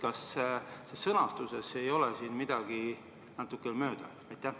Kas siin sõnastuses ei ole midagi natuke mööda?